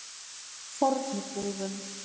Fornubúðum